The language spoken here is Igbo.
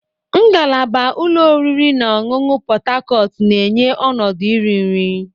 Ngalaba ụlọ oriri na ọṅụṅụ Pot Tarcot na-enye ọnọdụ iri nri.